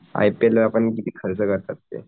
I P L ला पण किती खर्च करतात ते